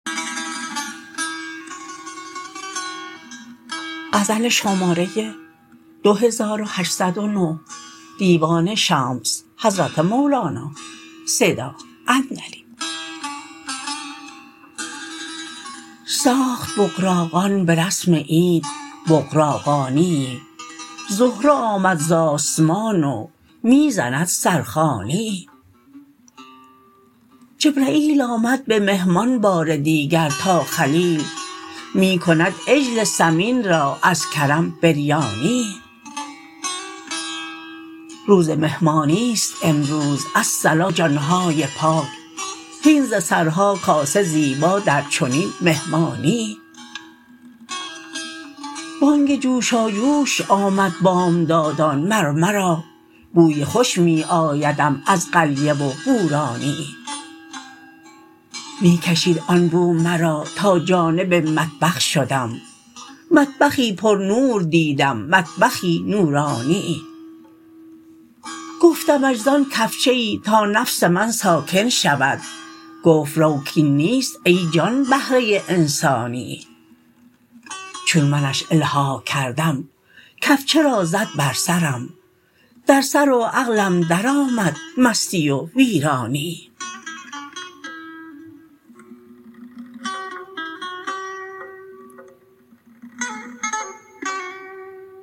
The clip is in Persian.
ساخت بغراقان به رسم عید بغراقانیی زهره آمد ز آسمان و می زند سرخوانیی جبرییل آمد به مهمان بار دیگر تا خلیل می کند عجل سمین را از کرم بریانیی روز مهمانی است امروز الصلا جان های پاک هین ز سرها کاسه زیبا در چنین مهمانیی بانگ جوشاجوش آمد بامدادان مر مرا بوی خوش می آیدم از قلیه و بورانیی می کشید آن بو مرا تا جانب مطبخ شدم مطبخی پرنور دیدم مطبخی نورانیی گفتمش زان کفچه ای تا نفس من ساکن شود گفت رو کاین نیست ای جان بهره انسانیی چون منش الحاح کردم کفچه را زد بر سرم در سر و عقلم درآمد مستی و ویرانیی